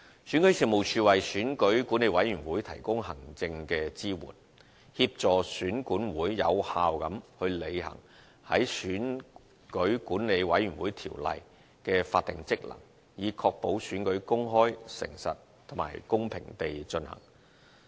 選舉事務處為選舉管理委員會提供行政支援，協助選管會有效履行在《選舉管理委員會條例》的法定職能，以確保選舉公開、誠實，以及公平地進行。